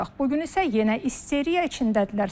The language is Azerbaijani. Bu gün isə yenə isteriya içindədirlər.